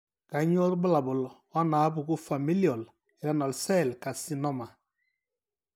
Kainyio irbulabul onaapuku Familial renal cell carcinoma?